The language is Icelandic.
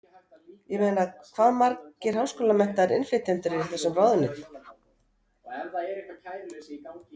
Ég meina hvað margir háskólamenntaðir innflytjendur eru í þessum ráðuneytum?